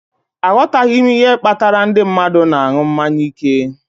Aghọtaghị m ihe kpatara ndị mmadụ na-aṅụ mmanya ike